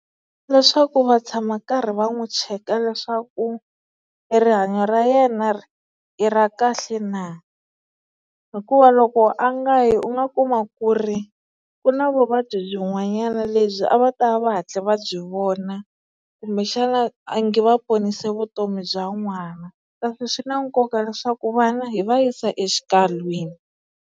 Leswaku va tshama karhi va n'wi cheka leswaku e rihanyo ra yena i ra kahle na, hikuva loko a nga yi u nga kuma ku ri ku na vuvabyi byin'wanyana lebyi a va ta va va hatle va byi vona kumbe xana a nge va ponise vutomi bya n'wana kasi swi na nkoka leswaku vana hi va yisa exikalwini.